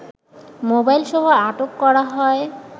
মোবাইলসহ আটক করা হয়